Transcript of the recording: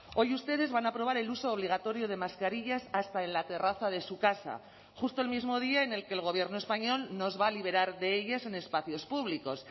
hoy ustedes van a aprobar el uso obligatorio de mascarillas hasta en la terraza de su casa justo el mismo día en el que el gobierno español nos va a liberar de ellas en espacios públicos